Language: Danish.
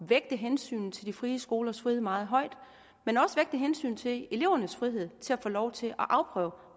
vægte hensynet til de frie skolers frihed meget højt men også vægte hensynet til elevernes frihed til at få lov til at afprøve